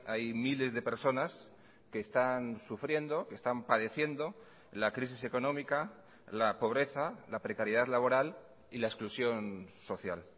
hay miles de personas que están sufriendo que están padeciendo la crisis económica la pobreza la precariedad laboral y la exclusión social